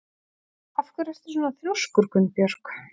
Af hverju ertu svona þrjóskur, Gunnbjörg?